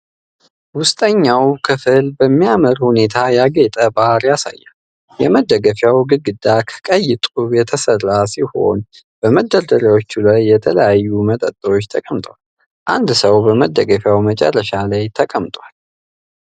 ውስጠኛው ክፍል በሚያምር ሁኔታ ያጌጠ ባር ያሳያል። የመደገፊያው ግድግዳ ከቀይ ጡብ የተሠራ ሲሆን፣ በመደርደሪያዎች ላይ የተለያዩ መጠጦች ተቀምጠዋል። አንድ ሰው በመደገፊያው መጨረሻ ላይ ተቀምጧል።